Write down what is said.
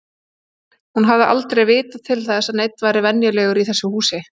Hún hafði aldrei vitað til þess að neinn væri venjulegur í þessu húsi.